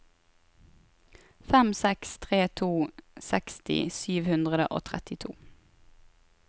fem seks tre to seksti sju hundre og trettito